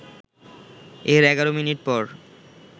এর ১১ মিনিট পর